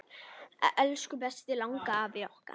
Elsku besti langafi okkar.